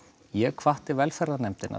ég hvatti velferðarnefndina